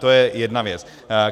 To je jedna věc.